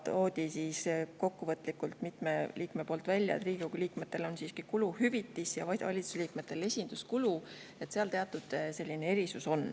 Aga siis tõid mitu liiget kokkuvõtlikult välja, et Riigikogu liikmetel on siiski kuluhüvitis ja valitsuse liikmetel esinduskulu, seal on teatud erisus.